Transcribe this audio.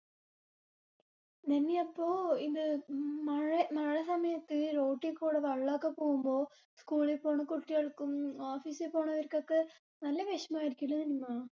നിമ്മി അപ്പൊ ഇത് ഉം മഴ മഴ സമയത് road ഡീക്കൂടെ വെള്ളൊക്കെ പോകുമ്പോ school ളി പോണ കുട്ടികൾക്കും office ഈ പോണവർക്കൊക്കെ നല്ല വിഷമം ആയിരിക്കുംലെ നിനിമാ?